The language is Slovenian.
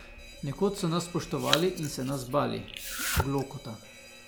Nekoč so nas spoštovali in se nas bali, Glokta.